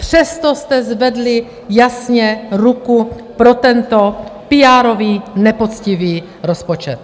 Přesto jste zvedli jasně ruku pro tento píárový, nepoctivý rozpočet.